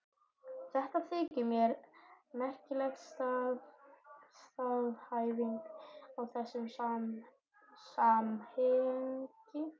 Þetta þykir mér merkileg staðhæfing í þessu samhengi.